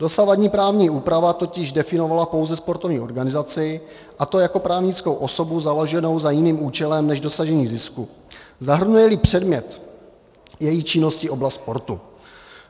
Dosavadní právní úprava totiž definovala pouze sportovní organizaci, a to jako právnickou osobu založenou za jiným účelem než dosažení zisku, zahrnuje-li předmět její činnosti oblast sportu.